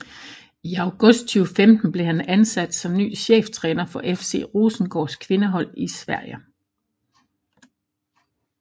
I august 2015 blev han ansat som ny cheftræner for FC Rosengårds kvindehold i Sverige